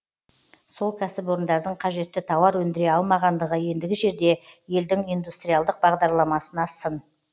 сол кәсіпорындардың қажетті тауар өндіре алмағандығы ендігі жерде елдің индустриалдық бағдарламасына сын